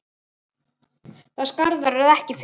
Það skarð verður ekki fyllt.